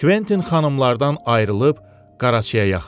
Kventin xanımlardan ayrılıb qaraçıya yaxınlaşdı.